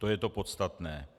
To je to podstatné.